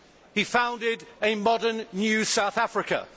He founded a modern new South Africa.